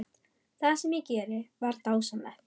Það sem ég gerði var dásamlegt.